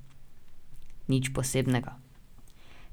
Nič posebnega.